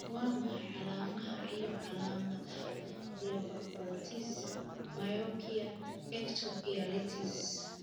Waa maxay calaamadaha iyo calaamadaha Blepharoptosis myopia ectopia lentis?